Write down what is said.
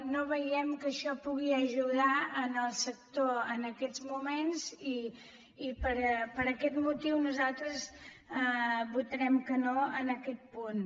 no veiem que això pugui ajudar el sector en aquests moments i per aquest motiu nosaltres votarem que no en aquest punt